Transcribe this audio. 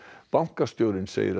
bankastjórinn segir að